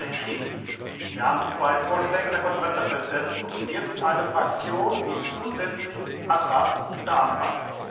Das habe ich ja gerade entschieden! Wir haben zwei Vorschläge der Konferenz der Präsidenten und jetzt eine Fraktion, die zusätzlich Ashraf beantragt.